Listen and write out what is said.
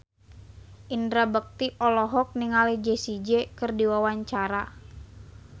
Indra Bekti olohok ningali Jessie J keur diwawancara